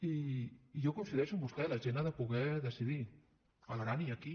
i jo coincideixo amb vostè la gent ha de poder decidir a l’aran i aquí